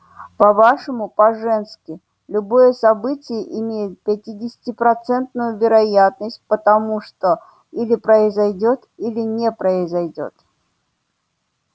по-вашему по-женски любое событие имеет пятидесятипроцентную вероятность потому что или произойдёт или не произойдёт